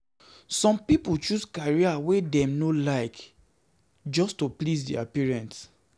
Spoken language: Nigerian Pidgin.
Some pipo choose career wey dem no like no like just to please their parents.